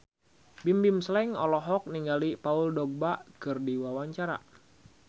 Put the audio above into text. Bimbim Slank olohok ningali Paul Dogba keur diwawancara